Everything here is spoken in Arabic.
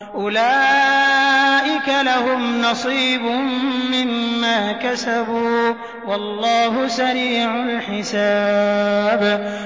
أُولَٰئِكَ لَهُمْ نَصِيبٌ مِّمَّا كَسَبُوا ۚ وَاللَّهُ سَرِيعُ الْحِسَابِ